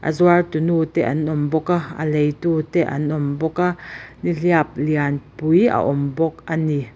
a zuar tunu te an awm bawk a a leitu te an awm bawk a nihliap lianpui a awm bawk a ni.